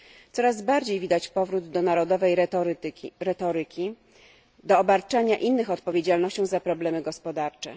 Coraz bardziej widać powrót do narodowej retoryki, do obarczania innych odpowiedzialnością za problemy gospodarcze.